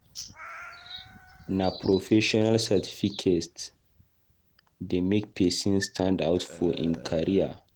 Na professional certificate dey make pesin stand-out for im career.